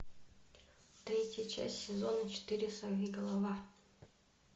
третья часть сезона четыре сорвиголова